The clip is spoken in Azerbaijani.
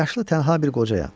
Yaşlı tənha bir qocayam.